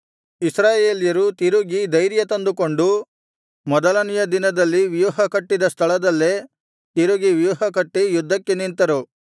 ಇಸ್ರಾಯೇಲ್ಯರು ತಿರುಗಿ ಧೈರ್ಯ ತಂದುಕೊಂಡು ಮೊದಲನೆಯ ದಿನದಲ್ಲಿ ವ್ಯೂಹಕಟ್ಟಿದ ಸ್ಥಳದಲ್ಲೇ ತಿರುಗಿ ವ್ಯೂಹಕಟ್ಟಿ ಯುದ್ಧಕ್ಕೆ ನಿಂತರು